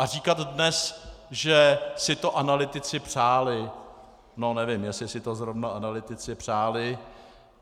A říkat dnes, že si to analytici přáli, no nevím, jestli si to zrovna analytici přáli.